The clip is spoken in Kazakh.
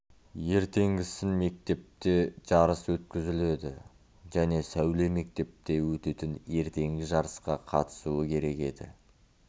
ертенгісін мектепте жарыс өткізіледі және сәуле мектепте өтетін ертеңгі жарысқа қатысуы керек еді